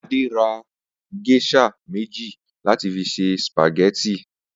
Adé ra gés̩à méjì láti fi se sìpàgé̩tì